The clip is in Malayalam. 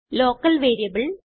local variable